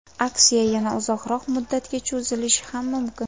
Aksiya yana uzoqroq muddatga cho‘zilishi ham mumkin.